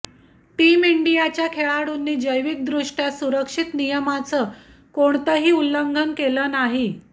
team इंडियाच्या खेळाडूंनी जैविक दृष्ट्या सुरक्षित नियमांचं कोणतही उल्लंघन केलं नाही